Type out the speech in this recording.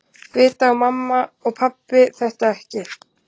Vita mamma og pabbi þetta ekki?